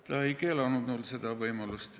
Ta ei keelanud mul seda võimalust.